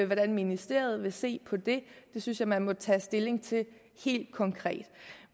hvordan ministeriet vil se på det det synes jeg man må tage stilling til helt konkret